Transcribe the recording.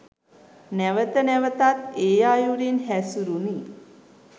නැවත නැවතත් ඒ අයුරින් හැසුරුනි